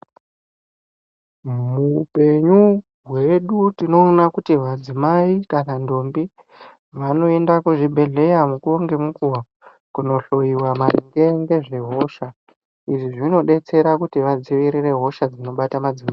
Muupenyu hwedu tinoona kuti madzimai kana ntombi vanoenda kuzvibhedhlera mukuwo ngemukuwo kohloyiwa matenda nehosha. Izvi zvinodetsera kuti vadziwirire hosha dzinobata madzimai.